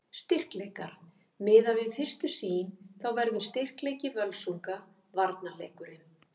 Styrkleikar: Miðað við fyrstu sýn þá verður styrkleiki Völsunga varnarleikurinn.